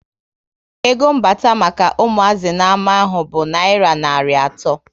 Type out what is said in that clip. Ego mbata maka umuazi na ama ahụ bụ nayira narị ato